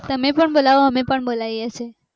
તમે પન બોલાવો અમે પન બોલાવીએ છીએ